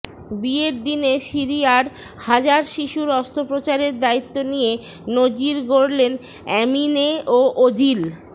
বিয়ের দিনে সিরিয়ার হাজার শিশুর অস্ত্রোপচারের দায়িত্ব নিয়ে নজির গড়লেন অ্যামিনে ও ওজিল